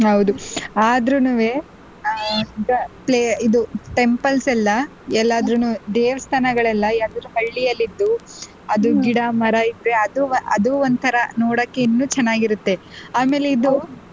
ಹೌದು ಆದ್ರುನುವೆ ಇದು temples ಎಲ್ಲಾ ಎಲ್ಲಾದ್ರುನು ದೇವಸ್ಥಾನ ಗಳೆಲ್ಲ ಯಾವ್ದಾದ್ರು ಹಳ್ಳಿ ಅಲ್ಲಿದ್ದು ಅದು ಗಿಡ ಮರ ಇದ್ರೆ ಅದು ಅದು ಒಂಥರಾ ನೋಡಕ್ಕೆ ಇನ್ನೂ ಚೆನ್ನಾಗಿರುತ್ತೆ ಆಮೇಲೆ ಇದು